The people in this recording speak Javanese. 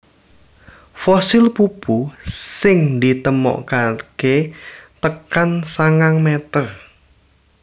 Fosil pupu sing ditemokaké tekan sangang meter